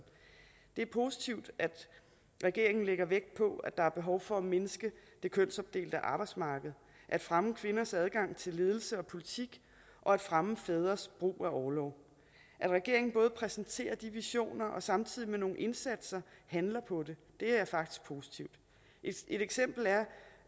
det er positivt at regeringen lægger vægt på at der er behov for at mindske det kønsopdelte arbejdsmarked at fremme kvinders adgang til ledelse og politik og at fremme fædres brug af orlov at regeringen både præsenterer de visioner og samtidig med nogle indsatser handler på det er faktisk positivt et eksempel